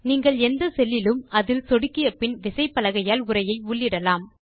நீங்கள் எந்த செல் லிலும் அதில் சொடுக்கியபின் விசைப்பலகையால் உரையை உள்ளிடலாம்